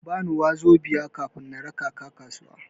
Kabani 'wazobia' kafin na raka ka kasuwa.